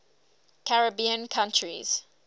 caribbean countries